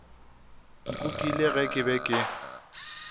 nkukile ge ke be ke